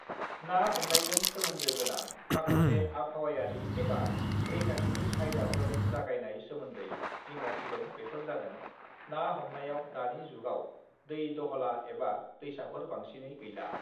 ना हमनायजों सोमोन्दो गोनां माखासे आबहावायारि एबा रैखाथिनि आयदाफोर जागायनाय सोमोन्दै जिंगा सिदों बेफोर जादों - ना हमनायाव दानि जुगाव दै दहला एबा दैसाफोर बांसिनै गैला।